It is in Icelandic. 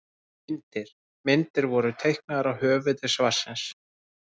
Myndir: Myndir voru teiknaðar af höfundi svarsins.